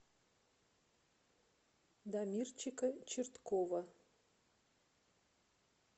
дамирчика черткова